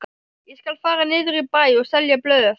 Ég skal fara niður í bæ og selja blöð.